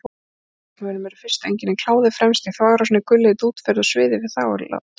Hjá karlmönnum eru fyrstu einkennin kláði fremst í þvagrásinni, gulhvít útferð og sviði við þvaglát.